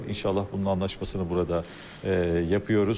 İnşallah bunun anlaşmasını burada yapıyoruz.